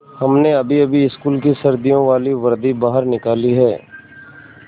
हमने अभीअभी स्कूल की सर्दियों वाली वर्दी बाहर निकाली है